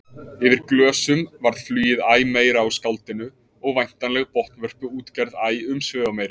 Yfir glösum varð flugið æ meira á skáldinu og væntanleg botnvörpuútgerð æ umsvifameiri.